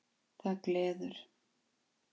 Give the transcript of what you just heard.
Það gleður